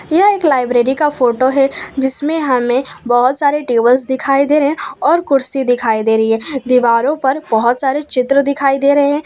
यह एक लाइब्रेरी का फोटो है जिसमें हमें बहुत सारे टेबल्स दिखाई दे रहे हैं और कुर्सी दिखाई दे रही है दीवारों पर बहुत सारे चित्र दिखाई दे रहे हैं।